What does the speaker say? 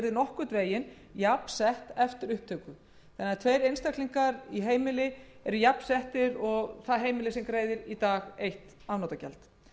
nokkurn veginn jafnsett eftir upptöku þess tveir einstaklingar í heimili eru því jafnsettir og heimili sem greiðir nú eitt afnotagjald